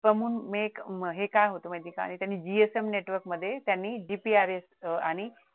common make हे काय होतं म्हणजे काय त्यांनी GSM नेटवर्कमध्ये त्यांनी GPRS अह आणि